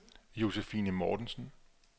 Josephine Mortensen